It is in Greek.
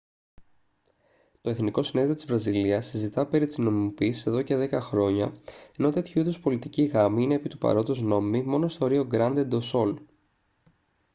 το εθνικό συνέδριο της βραζιλίας συζητά περί της νομιμοποίησης εδώ και δέκα χρόνια ενώ τέτοιου είδους πολιτικοί γάμοι είναι επί του παρόντος νόμιμοι μόνο στο ρίο γκράντε ντο σουλ